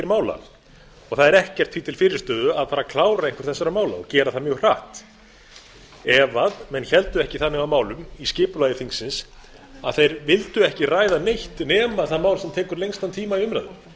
mála það er ekkert því til fyrirstöðu að fara að klára einhver þessara mála og gera það mjög hratt ef menn héldu ekki þannig á málum í skipulagi þingsins að þeir vildu ekki ræða neitt nema það mál sem tekur lengstan tíma í umræðu það